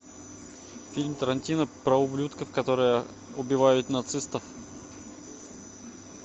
фильм тарантино про ублюдков которые убивают нацистов